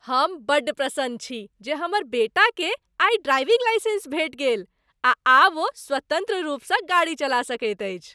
हम बड्ड प्रसन्न छी जे हमर बेटाकेँ आइ ड्राइविङ्ग लाइसेन्स भेटि गेल आ आब ओ स्वतन्त्र रूपसँ गाड़ी चला सकैत अछि।